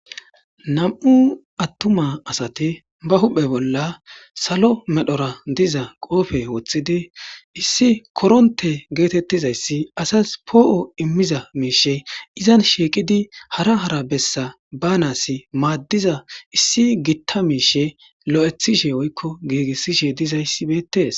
nam7u attuma asati ba huphe bolla salo medhora diza qoofe woththidi issi koronte geetettizayssi asas poo7o immiza miishe izan shiiqidi hara hara bessa baanasi maaddiza issi gitta miishe lo7ethishe woykko giigissishe dizayssibeetees